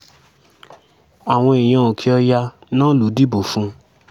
àwọn èèyàn òkè-ọ̀yà náà ló dìbò fún un